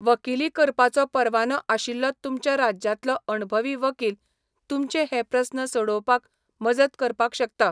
वकिली करपाचो परवानो आशिल्लो तुमच्या राज्यांतलो अणभवी वकील तुमचे हे प्रस्न सोडोवपाक मजत करपाक शकता.